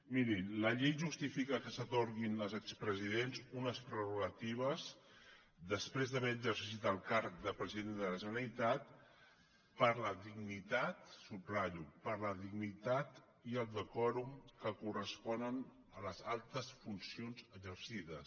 mirin la llei justifica que s’atorguin als expresidents unes prerrogatives després d’haver exercit el càrrec de president de la generalitat per la dignitat ho subratllo per la dignitat i el decòrum que corresponen a les altes funcions exercides